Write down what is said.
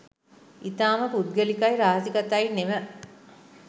ඉතාම පුද්ගලිකයි රහසිගතයි නෙව